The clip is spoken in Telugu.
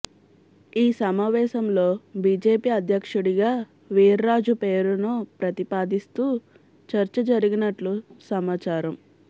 ఈ సమావేశం లో బిజెపి అధ్యక్షుడిగా వీర్రాజు పేరును ప్రతిపాదిస్తూ చర్చ జరిగినట్లు సమాచారం